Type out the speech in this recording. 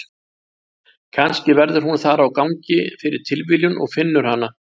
Kannski verður hún þar á gangi fyrir tilviljun og finnur hana.